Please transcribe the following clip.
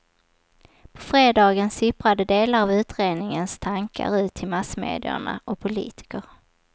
På fredagen sipprade delar av utredningens tankar ut till massmedierna och politiker.